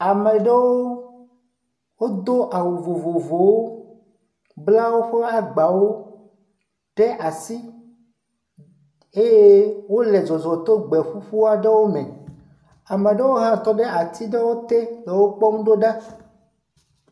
Ame ɖewo do awu vovovowo bla woƒe agbawo ɖe asi eye wole zɔzɔ to gbe ƒuƒu aɖewo me. Ame ɖewo hã tɔ ɖe ati ɖewo te le wokpɔm do ɖa